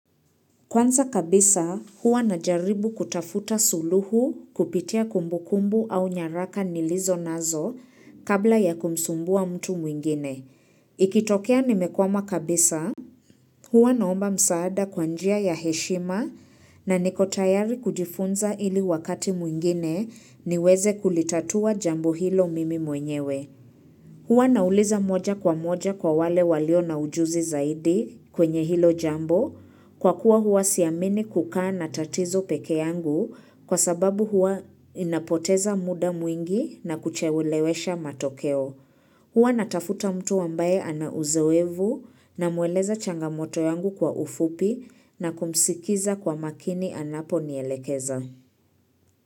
Kwanza kabisa, huwa najaribu kutafuta suluhu kupitia kumbukumbu au nyaraka nilizo nazo kabla ya kumsumbua mtu mwingine. Ikitokea nimekwama kabisa, hua naomba msaada kwa njia ya heshima na niko tayari kujifunza ili wakati mwingine niweze kulitatua jambo hilo mimi mwenyewe. Huwa nauliza moja kwa moja kwa wale walio na ujuzi zaidi kwenye hilo jambo kwa kuwa huwa siamini kukaa na tatizo pekee yangu kwa sababu huwa inapoteza muda mwingi na kuchelewesha matokeo. Huwa natafuta mtu ambaye ana uzoevu namweleza changamoto yangu kwa ufupi na kumsikiza kwa makini anaponielekeza.